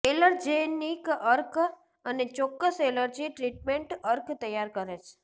allergenic અર્ક અને ચોક્કસ એલર્જી ટ્રીટમેન્ટ અર્ક તૈયાર કરે છે